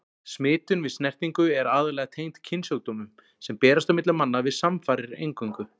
Smitun við snertingu er aðallega tengd kynsjúkdómum, sem berast á milli manna við samfarir eingöngu.